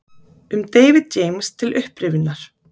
Um David James til upprifjunar: